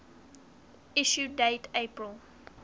issue date april